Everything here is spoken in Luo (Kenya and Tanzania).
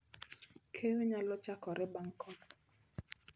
Keyo nyalo chakore bang' koth